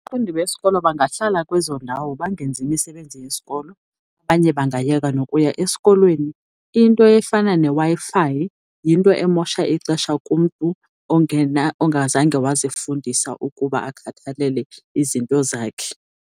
Abafundi besikolo bangahlala kwezo ndawo bangenzi misebenzi yesikolo, abanye bangayeka nokuya esikolweni. Into efana neWi-Fi yinto emosha ixesha kumntu ongazange wazifundisa ukuba akhathalele izinto zakhe.